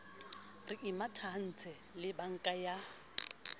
re imatahantse le banka ya